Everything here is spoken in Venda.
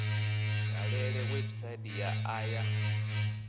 dalele website ya a ya